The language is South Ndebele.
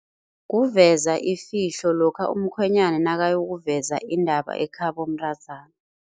Kuveza ifihlo lokha umkhwenyana nakayokuveza indaba ekhabo mntazana.